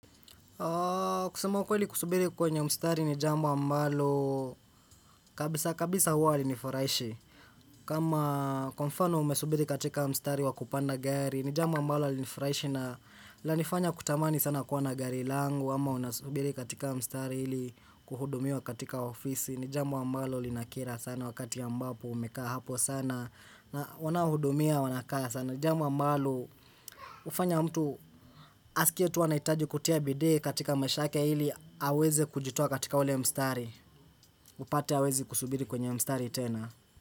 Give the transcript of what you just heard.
Kusema ukweli kusubiri kwenye mstari ni jambo ambalo kabisa kabisa huwa halinifurahishi kama kwa mfano umesubiri katika mstari wakupanda gari, ni jambo ambalo halinifurahishi na lanifanya kutamani sana kuwa na gari langu ama unasubiri katika mstari ili kuhudumiwa katika ofisi. Ni jambo ambalo linakera sana wakati ambapo umekaa hapo sana na wanaohudumia wanakaa sana, jambo ambalo ufanya mtu asikie tu anahitaji kutia bidii katika maisha yake hili aweze kujitoa katika ule mstari, upate awezi kusubiri kwenye mstari tena.